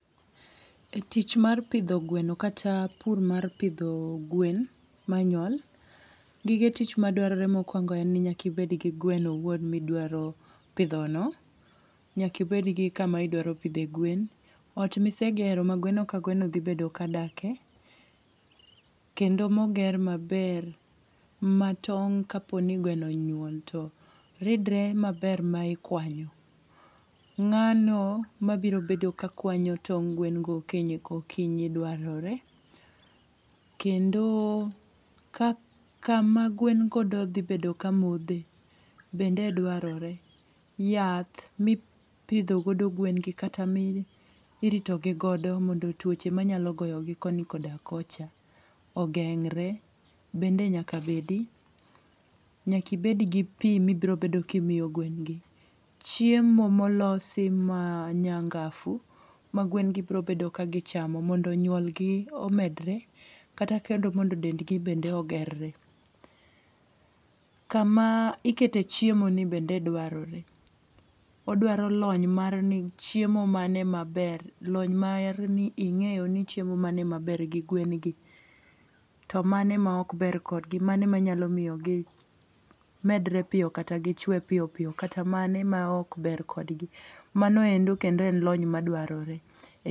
E tich mar pidho gweno, kata pur mar pidho gwen manyuol, gige tich madwarore mokwongo nyaka ibed gi gweno owuon midwaro pidho no. Nyaka ibed gi kama idwaro pidhe gwen. Ot mise gero ma gweno ka gweno dhi bedo ka dake, kendo moger maber ma tong' ka po ni gweno onyuol to ridre maber ma ikwanyo. Ngáno ma biro bedo ka kwanyo tong' gwen go okinyi ka okinyi dwarore. Kendo ka kama gwen go dhibedo ka modhe, bende dwarore. Yath mipidho godo gwen gi, kata ma iritogi godo, mondo twoche manyalo goyo gi koni koda kocha ogeng're bende nyaka bedi. Nyaka ibed gi pi ma ibiro bedo kimiyo gwen gi. Chiemo molosi ma nyangafu magwen gi biro bedo kagichamo mondo nyuol di omedore, kata kendo mondo dendgi bende ogerre. Kama ikete chiemo ni bende dwarore. Odwaro lony mar ni chiemo mane maber, lony mar ni ingéyoni chiemo mane maber gi gwen gi. To mane ma ok ber kodgi. Mane ma inyalo miyo gi medre piyo, kata gichwe piyo piyo, kata mane ma ok ber kodgi. Mano endo kendo en lony madwarore.